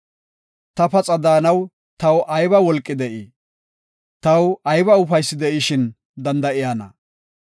Ta paxa daanaw taw ayba wolqi de7ii? Taw ayba ufaysi de7ishin danda7iyana?